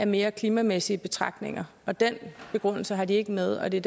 mere klimamæssige betragtninger og den begrundelse har de ikke med og det